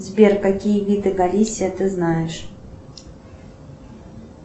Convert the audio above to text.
сбер какие виды галисия ты знаешь